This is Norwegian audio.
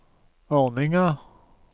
ordninga